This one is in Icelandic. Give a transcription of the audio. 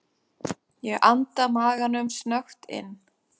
Ég anda maganum snöggt inn.